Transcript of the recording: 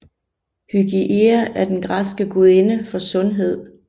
Hygieia er den græske gudinde for sundhed